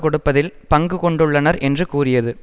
கொடுப்பதில் பங்கு கொண்டுள்ளனர் என்று கூறியது